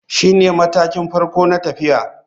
Shine matakin farko na tafiya.